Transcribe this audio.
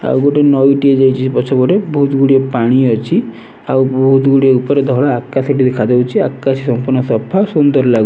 ଆଉ ଗୋଟେ ନଈଟିଏ ଯାଇଛି ସେ ପଛପଟେ ବୋହୁତ୍ ଗୁଡିଏ ପାଣି ଅଛି ଆଉ ବହୁତ୍ ଗୁଡିଏ ଉପରେ ଧଳା ଆକାଶ ଟି ଦେଖାଯାଉଛି ଆକାଶ ସମ୍ପୂର୍ଣ୍ଣ ସଫା ସୁନ୍ଦର ଲାଗୁ --